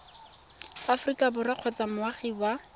aforika borwa kgotsa moagi wa